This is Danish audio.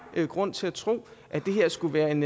har grund til at tro at det her skulle være en